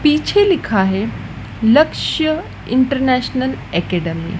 पीछे लिखा है लक्ष्य इंटरनेशनल एकैडमी ।